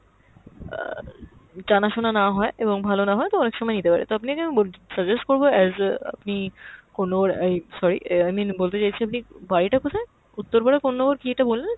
অ্যাঁ জানা-শোনা না হয় এবং ভালো না হয় তো অনেক সময় নিতে পারে। তো আপনাকে আমি বল~ suggest করব as আপনি কোনো অ্যাই sorry i mean বলতে চাইছি আপনি বাড়িটা কোথায়? উত্তরপাড়া কোননগর কী একটা বললেন!